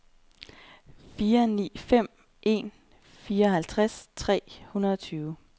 fire ni fem en fireoghalvtreds tre hundrede og tyve